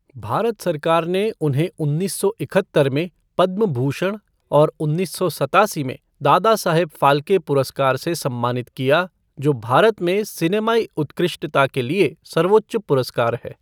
भारत सरकार ने उन्हें उन्नीस सौ इकहत्तर में पद्म भूषण और उन्नीस सौ सत्तासी में दादा साहब फाल्के पुरस्कार से सम्मानित किया, जो भारत में सिनेमाई उत्कृष्टता के लिए सर्वोच्च पुरस्कार है।